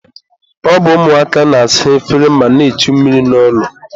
ọ bụ ụmụaka na-asa efere ma na-echu mmiri n'ụlọ.